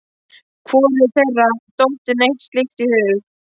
Hvorugu þeirra hafði dottið neitt slíkt í hug.